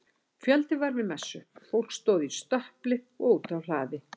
Fjöldi var við messu, fólk stóð í stöpli og úti á hlaði.